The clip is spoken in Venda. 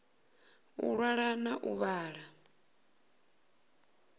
u ṅwala na u vhala